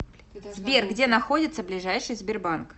сбер где находится ближайший сбербанк